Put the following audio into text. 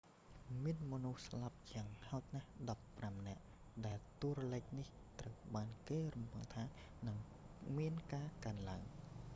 មានមនុស្សស្លាប់យ៉ាងហោចណាស់ 15 នាក់ ដែលតួលេខនេះត្រូវបានគេរំពឹងថានឹងមានការកើនឡើង